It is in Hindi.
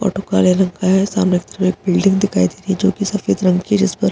ऑटो काला रंग का है सामने की तरफ़ एक बिल्डिंग दिखाई रही है जो कि सफेद रंग की है जिस पर --